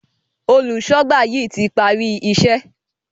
Olùṣọ́gbà yí tí parí iṣé